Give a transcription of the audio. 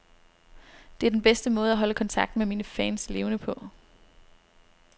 Det er den bedste måde at holde kontakten med mine fans levende på.